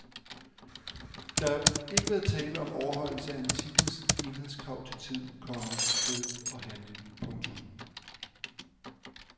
Der har ikke været tale om overholdelse af antikkens enhedskrav til tid, komma sted og handling. punktum